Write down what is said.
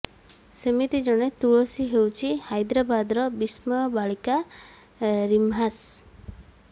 ସେମିତି ଜଣେ ତୁଳସୀ ହେଉଛି ହାଇଦ୍ରାବଦର ବିସ୍ମୟ ବାଳିକା ରିମ୍ହାସ୍